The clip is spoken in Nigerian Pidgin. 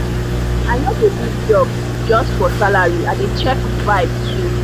i no dey leave job just for salary i dey check vibe too.